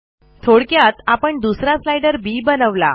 थोडक्यात आपण दुसरा स्लाइडर बी बनवला